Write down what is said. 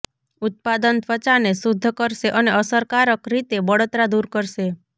ઉત્પાદન ત્વચાને શુદ્ધ કરશે અને અસરકારક રીતે બળતરા દૂર કરશે